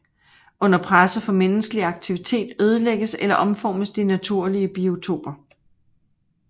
Under presset fra menneskelig aktivitet ødelægges eller omformes de naturlige biotoper